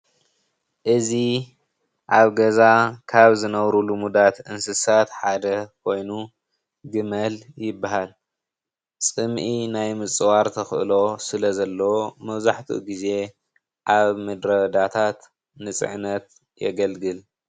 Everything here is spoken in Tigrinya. እዚ ኣብ ገዛ ካብ ዝነብሩ ልሙዳት እንስሳት ሓደ ኮይኑ ግመል ይባሃል፡፡ ፅምኢ ማይ ምፅዋት ተክእሎ ስለ ዘለዎ መብዛሕትኡ ግዜ ኣብ ምድረ ባዳታት ንፅዕነት የገልግል፡፡